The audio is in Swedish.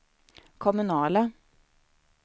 kommunala